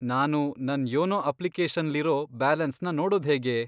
ನಾನು ನನ್ ಯೋನೋ ಅಪ್ಲಿಕೇಶನ್ಲಿರೋ ಬ್ಯಾಲೆನ್ಸ್ನ ನೋಡೋದ್ಹೇಗೆ?